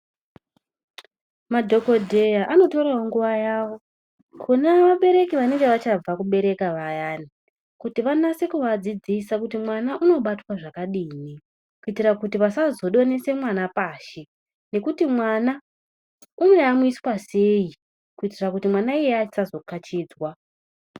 Madhokodheya anotorawo nguva yavo kune vabereki vanenge vachabva kubereka vayani kuti vanase kuva dzidzisa kuti mwana unobatwa zvakadini kuitira kuti vasazo donhese mwana pashi ngekuti mwana uno yamwiswa sei kuitira kuti mwana iyeye asazo kachidzwa.